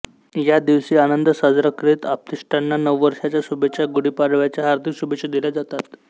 यादिवशी आनंद साजरा करीत आप्तेष्टांना नववर्षाच्या शुभेच्छा गुढीपाडव्याच्या हार्दिक शुभेच्छा दिल्या जातात